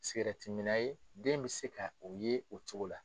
Sikatiminna ye den bɛ se ka o ye o cogo la